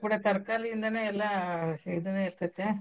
ತರ್ಕಾರೀ ಇಂದಾನ ಎಲ್ಲಾ ಇದನೂ ಇರ್ತೇತ್ಯಾ.